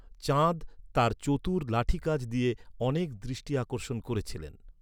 চাঁদ তাঁর চতুর লাঠি কাজ দিয়ে অনেক দৃষ্টি আকর্ষণ করেছিলেন।